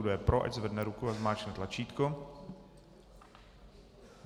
Kdo je pro, ať zvedne ruku a zmáčkne tlačítko.